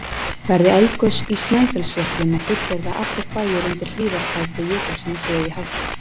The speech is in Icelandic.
Verði eldgos í Snæfellsjökli má fullyrða að allir bæir undir hlíðarfæti jökulsins séu í hættu.